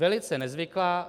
Velice nezvyklá.